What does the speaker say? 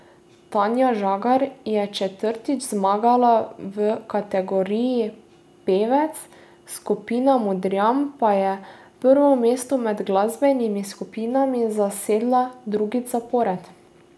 Tanja Žagar je četrtič zmagala v kategoriji pevec, skupina Modrijani pa je prvo mesto med glasbenimi skupinami zasedla drugič zapored.